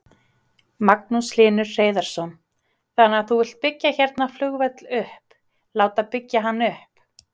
Magnús Hlynur Hreiðarsson: Þannig að þú vilt byggja hérna flugvöll upp, láta byggja hann upp?